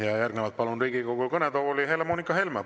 Ja järgnevalt palun Riigikogu kõnetooli Helle-Moonika Helme!